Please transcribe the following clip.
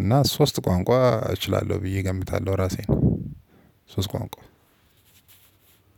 እና ሶስት ቋንቋ እችላለሁ ብዬ እገምታለሁ። ራሴን ሶስት ቋንቋ